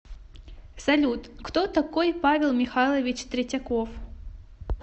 салют кто такой павел михайлович третьяков